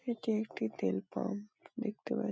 এটি একটি তেল পাম্প দেখতে পাচ --